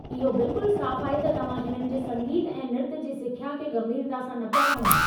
इहो बिल्कुल साफ़ आहे त तव्हां हिननि जे संगीत ऐं नृतु जी सिख्या खे गंभीरता सां न पिया खणो।